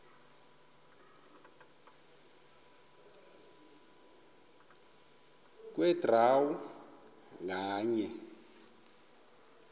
kwe draw nganye